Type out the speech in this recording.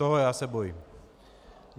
Toho já se bojím.